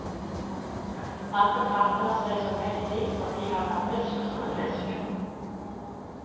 Han betrakter seg som heldig fordi han er frisk som en fisk.